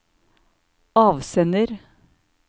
avsender